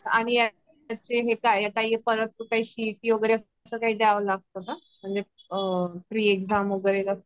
आणि यांचे हे काय परत तर काही सीईटी वैगेरे अस काही द्याव लागत का म्हणजे प्री एक्जाम वैगेरे